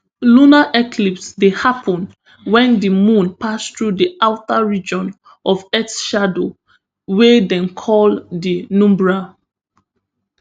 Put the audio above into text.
lunar eclipse dey happen wen di moon pass through di outer region of earth shadow wey dem call di penumbra